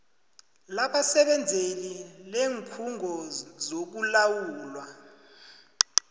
labasebenzeli leenkhungo zokulawulwa